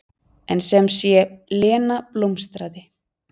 En sem sé, Lena blómstraði.